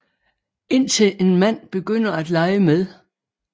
Indtil en mand begynder at lege med